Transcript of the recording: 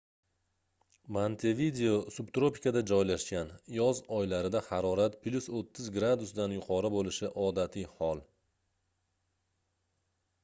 montevideo subtropikada joylashgan; yoz oylarida harorat +30°c dan yuqori bo'lishi odatiy hol